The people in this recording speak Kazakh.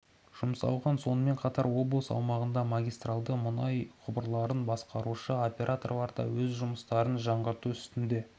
жұмсалған сонымен қатар облыс аумағындағы магистральді мұнай құбырларын басқарушы операторлар да өз жұмыстарын жаңғырту үстінде